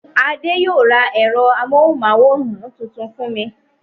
Adé yóò ra ẹ̀rọ amóhùmáwòhán tuntun fún mi.